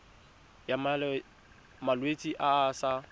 ya malwetse a a sa